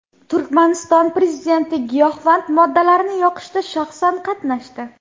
Turkmaniston prezidenti giyohvand moddalarni yoqishda shaxsan qatnashdi .